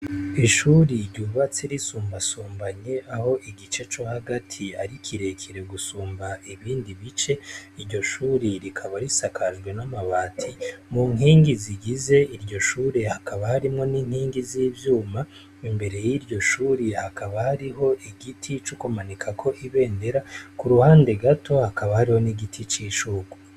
Ishure ryubatse risumbasumbanye aho igice co hagati ari kirekire gusumba ibindi bice , iryo shure rikaba risakajwe n'amabati . Mu nkingi zigize iryo shure hakaba harimwo n'inkingi z'ivyuma imbere y'iryo shure hakaba hariho igiti co kumanikako ibendera ku ruhande gato hakaba hariho n'igiti c'ishurwe.